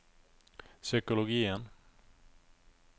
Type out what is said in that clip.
psykologien